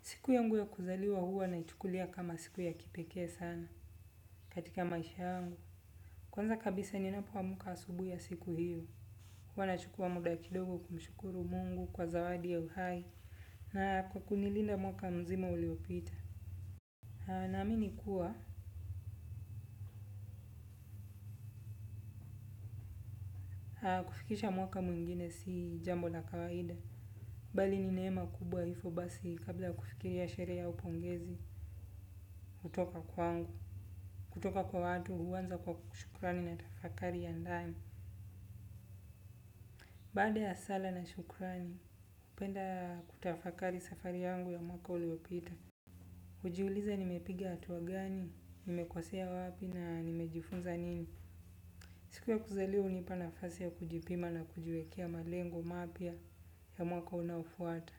Siku yangu ya kuzaliwa huwa naichukulia kama siku ya kipekee sana katika maisha yangu. Kwanza kabisa ninapoamka asubuhi ya siku hiyo. Huwa nachukua muda kidogo kumshukuru mungu kwa zawadi ya uhai. Na kwa kunilinda mwaka mzima uliopita. Naamini kuwa aa kufikisha mwaka mwingine si jambo la kawaida. Bali nineema kubwa hivo basi kabla kufikiria sherehe au pongezi. Kutoka kwangu. Kutoka kwa watu huanza kwa ku shukrani na tafakari ya ndani. Baada ya sala na shukrani, hupenda kutafakari safari yangu ya mwaka uliopita. Hujiuliza nimepiga hatua gani, nimekosea wapi na nimejifunza nini. Siku ya kuzaliwa hunipa nafasi ya kujipima na kujiwekea malengo mapya ya mwaka unaofuata.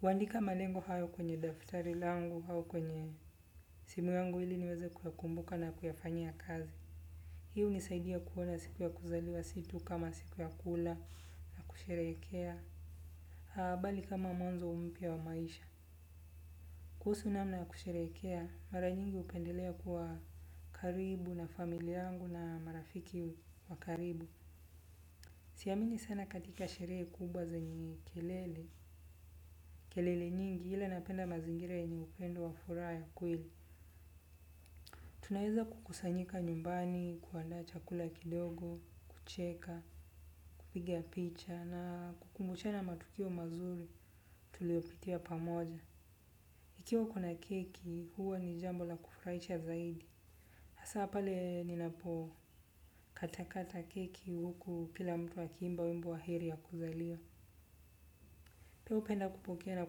Huandika malengo hayo kwenye daftari langu au kwenye simu yangu ili niweze kuyakumbuka na kuyafanyia kazi. Hii unisaidia kuona siku ya kuzaliwa si tu kama siku ya kula, na kusherehekea. Haa bali kama mwanzo mpya wa maisha. Kuhusu namna ya kusherehekea mara nyingi hupendelea kuwa karibu na familia yangu na marafiki wa karibu. Siamini sana katika sherehe kubwa zenye kelele. Kelele nyingi ila napenda mazingire yenye upendo wa furaha ya kweli. Tunaeza kukusanyika nyumbani, kuandaa chakula kidogo, kucheka, kupiga picha na kukumbushana matukio mazuri tuliyopitia pamoja. Ikiwa kuna keki, huo ni jambo la kufurahisha zaidi. Asa pale ninapokatakata keki huku kila mtu akiimba wimbo wa heri ya kuzaliwa. Pia hupenda kupokea na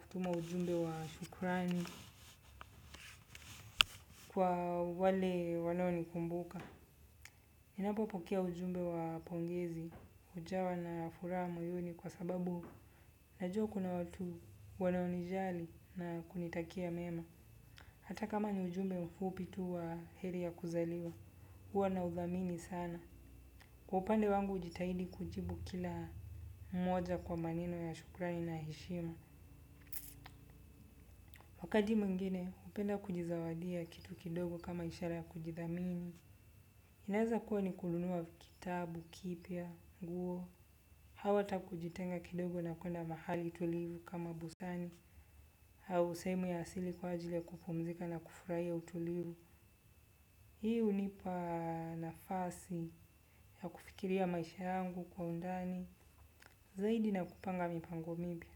kutuma ujumbe wa shukrani kwa wale wanao nikumbuka. Ninapopokea ujumbe wa pongezi, hujawa na furaha moyoni kwa sababu najua kuna watu wanao nijali na kunitakia mema. Hata kama ni ujumbe mfupi tu wa heri ya kuzaliwa, huwa naudhamini sana. Kwa upande wangu ujitahidi kujibu kila mmoja kwa maneno ya shukrani na heshima. Wakati mwingine hupenda kujizawadia kitu kidogo kama ishara ya kujidhamini inaezakuwa ni kununua kitabu kipya nguo. Hau ata kujitenga kidogo na kuenda mahali tulivu kama busani. Au sehemu ya asili kwa ajili kupumzika na kufurahia utulivu. Hii unipa nafasi ya kufikiria maisha yangu kwa undani zaidi na kupanga mipango mipya.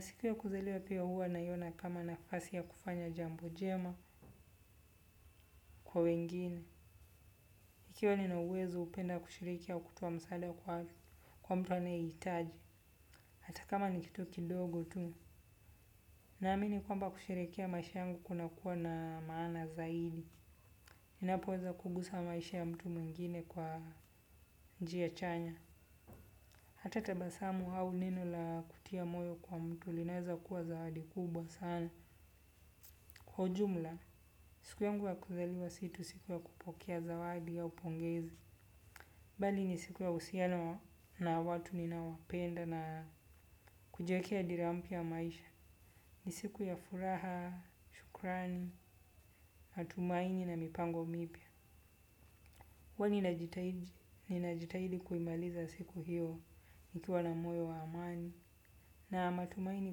Siku ya kuzaliwa pia huwa naiona kama nafasi ya kufanya jambo jema kwa wengine. Ikiwa nina uwezo upenda kushiriki au kutoa msaada kwa hali kwa mtu anayehitaji. Hata kama ni kitu kidogo tu naamini kwamba kusherehekea maisha yangu kunakuwa na maana zaidi. Ninapoweza kugusa maisha ya mtu mwingine kwa njia chanya hata tabasamu hau neno la kutia moyo kwa mtu linaeza kuwa zawadi kubwa sana kwa ujumla. Siku yangu ya kuzaliwa si tu siku ya kupokea zawadi au pongezi. Bali ni siku ya uhusiano na watu ninaowapenda na kujiwekea dira mpya ya maisha. Ni siku ya furaha, shukrani, matumaini na mipango mipya. Huwa ninajitahidi ninajitahidi kuimaliza siku hiyo nikiwa na moyo wa amani. Na matumaini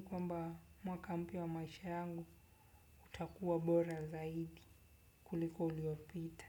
kwamba mwaka mpya wa maisha yangu utakuwa bora zaidi kuliko uliopita.